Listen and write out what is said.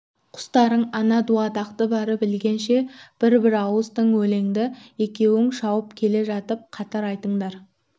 құстарың ана дуадақты барып ілгенше бір-бір ауыз тың өлеңді екеуің шауып келе жатып қатар айтындар